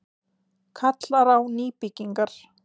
Kallar á nýbyggingar